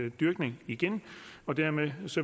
i dyrkning igen og dermed